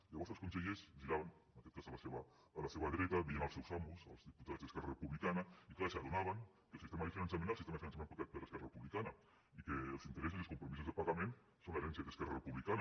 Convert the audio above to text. llavors els consellers es giraven en aquest cas a la seva dreta veien els seus amos els diputats d’esquerra republicana i clar s’adonaven que el sistema de finançament és el sistema de finançament acordat per esquerra republicana i que els interessos i els compromisos de pagament són l’herència d’esquerra republicana